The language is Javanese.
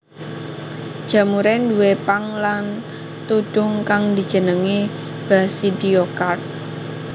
Jamuré duwé pang lan tudhung kang dijenengi basidiokarp